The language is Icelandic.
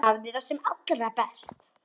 Hafðu það sem allra best.